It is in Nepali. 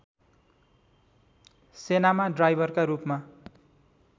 सेनामा ड्राइभरका रूपमा